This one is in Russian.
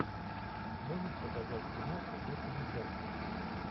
можешь показать киношку в духе мультяшки